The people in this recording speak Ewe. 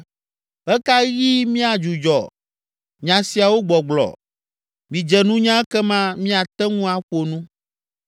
Ɣe ka ɣi miadzudzɔ nya siawo gbɔgblɔ? Midze nunya ekema míate ŋu aƒo nu.